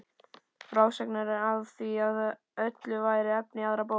Frásagnir af því öllu væru efni í aðra bók.